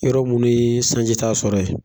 Yɔrɔ minnu ye sanji t'a sɔrɔ yen.